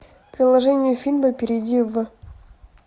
приложение финбо перейди в